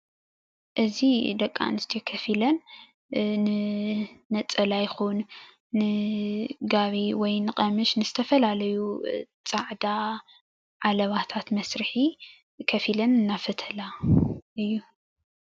እዚ ደቂ ኣንስትዮ ከፍ ኢለን ንነፀላ ይኹን ንጋቢ ወይ ንቀምሽ ንዝተፈላለዩ ፃዕዳ ዓለባታት መስርሒ ከፍ ኢለን እናፈተላ እዩ።